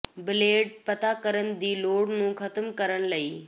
blade ਪਤਾ ਕਰਨ ਦੀ ਲੋੜ ਨੂੰ ਖਤਮ ਕਰਨ ਲਈ